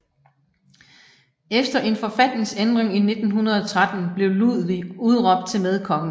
Efter en forfatningsændring i 1913 blev Ludwig udråbt til medkonge